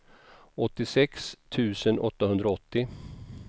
åttiosex tusen åttahundraåttio